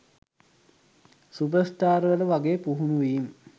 සුපර්ස්ටාර්වල වගේ පුහුණුවීම්